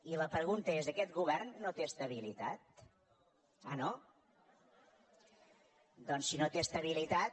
i la pregunta és aquest govern no té estabilitat ah no té estabilitat